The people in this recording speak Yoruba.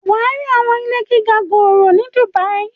wà á rí àwọn ilé gíga gòòrò ni Dubai.